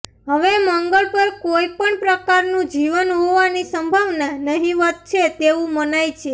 હવે મંગળ પર કોઇ પણ પ્રકારનું જીવન હોવાની સંભાવના નહિવત છે તેવું મનાય છે